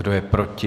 Kdo je proti?